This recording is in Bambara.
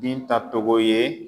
Binta Tɔgɔ. ye